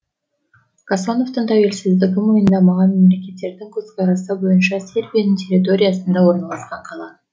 касановтың тәуелсіздігін мойындамаған мемлекеттердің көзқарасы бойынша сербияның территориясында орналасқан қала